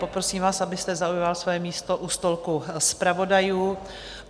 Poprosím vás, abyste zaujal své místo u stolku zpravodajů.